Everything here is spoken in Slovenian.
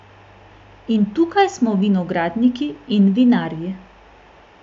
In tukaj smo vinogradniki in vinarji!